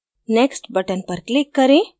next button पर click करें